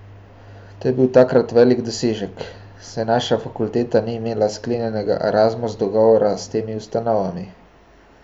To je bil takrat velik dosežek, saj naša fakulteta ni imela sklenjenega Erasmus dogovora s temi ustanovami.